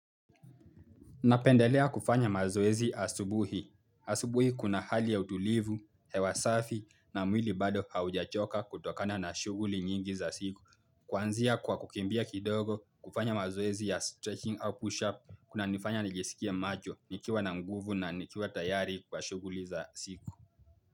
Napendelea kufanya mazoezi asubuhi. Asubuhi kuna hali ya utulivu, hewa safi na mwili bado haujachoka kutokana na shughuli nyingi za siku. Kuanzia kwa kukimbia kidogo kufanya mazoezi ya stretching au push-up kunanifanya nijisikie macho nikiwa na nguvu na nikiwa tayari kwa shuguli za siku.